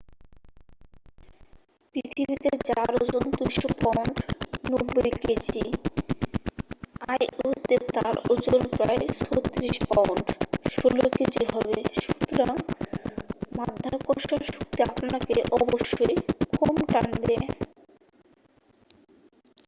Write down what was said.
পৃথিবীতে যার ওজন 200 পাউন্ড 90 কেজি io-তে তার ওজন প্রায় 36 পাউন্ড 16 কেজি হবে। সুতরাং মাধ্যাকর্ষণ শক্তি আপনাকে অবশ্যই কম টানবে।